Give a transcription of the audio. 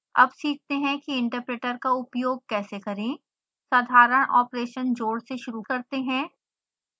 अब सीखते हैं कि इंटरप्रेटर का उपयोग कैसे करें